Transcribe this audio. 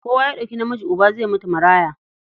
Kowa ya ɗauki namiji uba, zai mutu maraya.